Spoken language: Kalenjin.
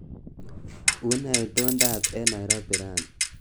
Unee itondoab eng Nairobi raini